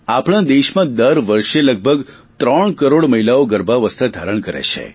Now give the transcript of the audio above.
આપણા દેશમાં દર વર્ષે લગભગ ત્રણ કરોડ મહિલાઓ ગર્ભાવસ્થા ધારણ કરે છે